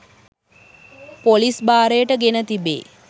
police භාරයට ගෙන තිබේ